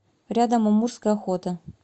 рядом амурская охота